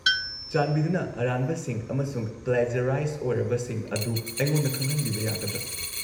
-ꯆꯥꯟꯕꯤꯗꯨꯅ ꯑꯔꯥꯟꯕꯁꯤꯡ ꯑꯃꯁꯨꯡ ꯄ꯭ꯂꯦꯖ꯭ꯌꯔꯥꯏꯖ ꯑꯣꯢꯔꯕꯁꯤꯡ ꯑꯗꯨ ꯑꯩꯉꯣꯟꯗ ꯈꯪꯍꯟꯕꯤꯕ ꯌꯥꯒꯗ꯭ꯔꯥ?